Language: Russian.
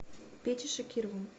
петей шакировым